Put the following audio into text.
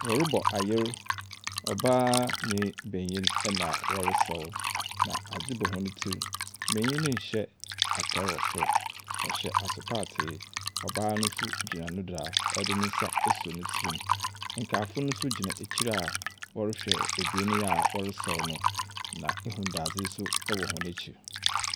Wɔrebɔ ayer, ɔbaa ne benyin na wɔresaw. Na adze bɔ wɔn tsir. Benyin no nhyɛ ataar wɔ sor. Ↄhyɛ asepaatre. Ↄbaa no nso gyina ne do a ɔde ne nsa asɔ ne tsirim. Nkaefo no nso gyina ekyir a wɔrehwɛ ebien a wɔresaw no, na ehu dɛ azde nso wɔ hɔn ekyir.